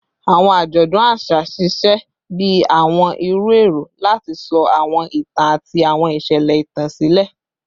Awọn ajọdun aṣa ṣiṣẹ bi awọn iru ẹrọ lati sọ awọn itan ati awọn iṣẹlẹ itan silẹ